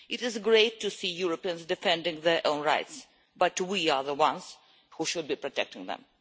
It is great to see Europeans defending their own rights, but we are the ones who should be protecting them.